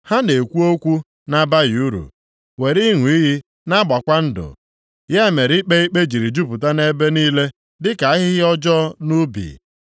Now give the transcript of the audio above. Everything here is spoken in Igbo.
Ha na-ekwu okwu na-abaghị uru, were ịṅụ iyi na-agbakwa ndụ, ya mere ikpe ikpe jiri jupụta nʼebe niile, dịka ahịhịa ọjọọ nʼubi.